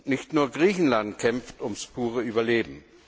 Nicht nur Griechenland kämpft ums pure Überleben.